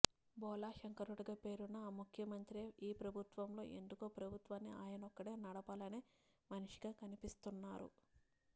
బోళాశంకరుడిగా పేరున్న ఆ ముఖ్యమంత్రే ఈ ప్రభుత్వంలో ఎందుకో ప్రభుత్వాన్ని ఆయనొక్కడే నడపాలనే మనిషిగా కనిపిస్తున్నారు